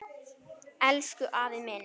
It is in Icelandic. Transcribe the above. Elsku afi minn.